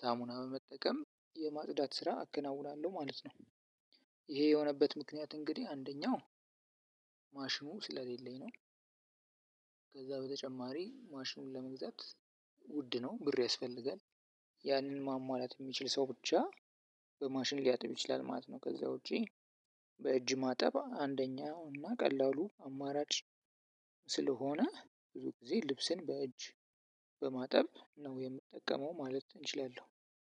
ሳሙና በመጠቀም የማጽዳት ስራ አከናውናለሁ ማለት ነው። ይሄ የሆነበት ምክንያት እንግዲህ አንደኛው ማሽኑ ስለሌለኝ ነው። ከዛ በተጨማሪ ማሽኑን ለመግዛት ውድ ነው ብር ያስፈልጋል። ያንን ማሟላት የሚችል ሰው ብቻ በማሽን ሊያጥብ ይችላል ማለት ነው። ከዛ ውጪ በእጅ ማጠብ አንደኛው እና ቀላሉ አማራጭ ስለሆነ ብዙ ጊዜ ልብስን በእጅ በማጠብ ነው የምጠቀመው ማለት እችላለው።